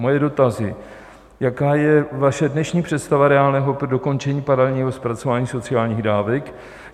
Moje dotazy: Jaká je vaše dnešní představa reálného dokončení paralelního zpracování sociálních dávek?